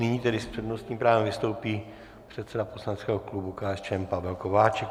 Nyní tedy s přednostním právem vystoupí předseda poslaneckého klubu KSČM Pavel Kováčik.